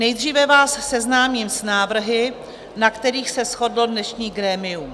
Nejdříve vás seznámím s návrhy, na kterých se shodlo dnešní grémium.